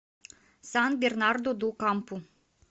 сан бернарду ду кампу